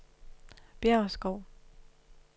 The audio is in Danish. Bjæverskov